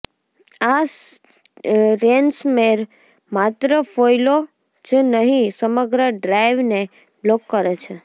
આ રેન્સમવેર માત્ર ફાઇલો જ નહી સમગ્ર ડ્રાઇવને બ્લોક કરે છે